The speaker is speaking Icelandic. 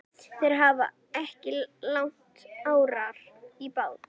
Þeir hafa ekki lagt árar í bát.